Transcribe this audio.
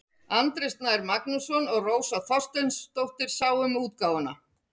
Andri Snær Magnason og Rósa Þorsteinsdóttir sáu um útgáfuna.